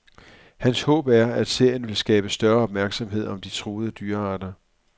Hans håb er, at serien vil skabe større opmærksomhed om de truede dyrearter.